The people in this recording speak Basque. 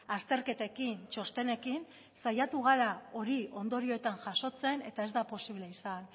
azterketekin txostenekin saiatu gara hori ondorioetan jasotzen eta ez da posible izan